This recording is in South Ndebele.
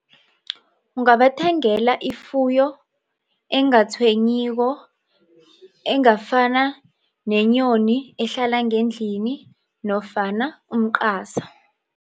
Ungabathengela ifuyo engatshwenyiko engafana nenyoni ehlala ngendlini nofana umqasa.